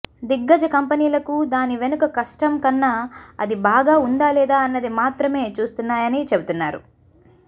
దిగ్గజ కంపెనీలకు దాని వెనుక కష్టం కన్నా అది బాగా ఉందా లేదా అన్నది మాత్రమే చూస్తున్నాయని చెబుతున్నారు